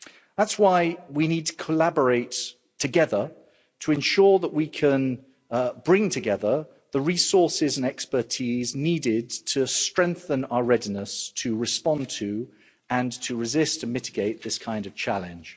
That's why we need to collaborate together to ensure that we can bring together the resources and expertise needed to strengthen our readiness to respond to and to resist and mitigate this kind of challenge.